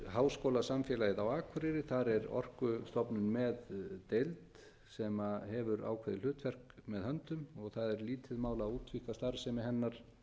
háskólasamfélagið á akureyri þar er orkustofnun með deild sem hefur ákveðið hlutverk með höndum og það er lítið mál að að útvíkka starfsemi hennar